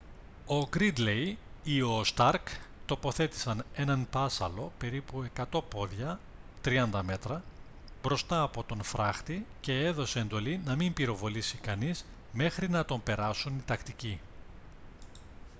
ο γκρίντλεϊ ή ο σταρκ τοποθέτησαν έναν πάσσαλο περίπου 100 πόδια 30 μέτρα μπροστά από τον φράχτη και έδωσε εντολή να μην πυροβολήσει κανείς μέχρι να τον περάσουν οι τακτικοί